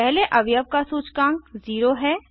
पहले अवयव का सूचकांक 0 है